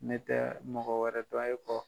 Ne tɛ mɔgɔ wɛrɛ dɔn e kɔ